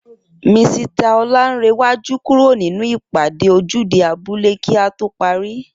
Misita Oláńrewájú kúrò nínú ìpàdé ojúde abúlé kí á to parí